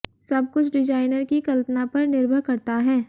सब कुछ डिजाइनर की कल्पना पर निर्भर करता है